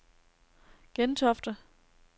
Gentofte